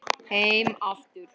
Heim aftur